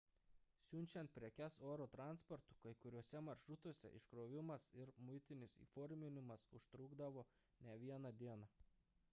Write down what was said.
siunčiant prekes oro transportu kai kuriuose maršrutuose iškrovimas ir muitinis įforminimas užtrukdavo ne vieną dieną